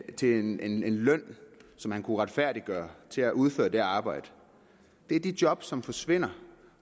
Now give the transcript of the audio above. til en løn som han kunne retfærdiggøre til at udføre det arbejde det er de job som forsvinder